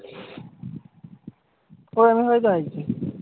ওরকম হয় তো আইজি।